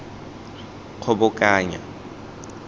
kgobokanya